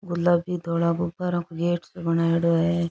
गुलाबी धोळा गुब्बारा को गेट सो बनायेड़ो है।